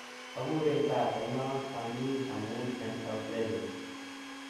Aguren gaa en non ami amun en australia.